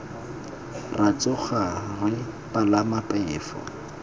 ra tsoga re palama phefo